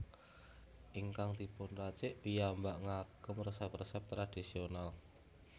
Ingkang dipun racik piyambak ngagem resep resep tradisional